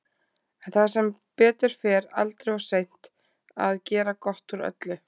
En það er sem betur fer aldrei of seint að gera gott úr öllu.